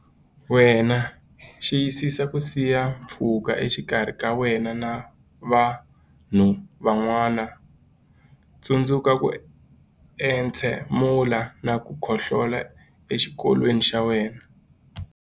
Wena Xiyisisa ku siya pfhuka exikarhi ka wena na vanhu van'wana Tsundzuka ku entshemula na ku khohlolela exikokolweni xa wena.